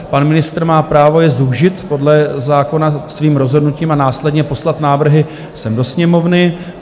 Pan ministr má právo je zúžit podle zákona svým rozhodnutím a následně poslat návrhy sem do Sněmovny.